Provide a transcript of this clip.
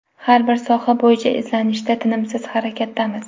Har bir soha bo‘yicha izlanishda, tinimsiz harakatdamiz.